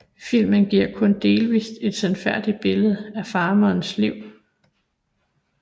Filmen giver kun delvist et sandfærdigt billede af Farmers liv